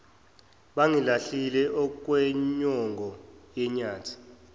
bangilahlise okwenyongo yenyathi